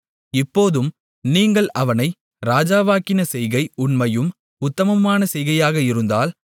இப்போதும் நீங்கள் அவனை ராஜாவாக்கின செய்கை உண்மையும் உத்தமமுமான செய்கையாக இருந்தால்